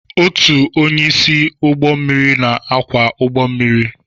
Otu onye isi ụgbọ mmiri na-akwọ ụgbọ mmiri.